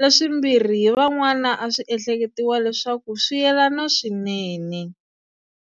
leswimbirhi hi van'wana a swi ehleketiwa leswaku swi yelana swinene.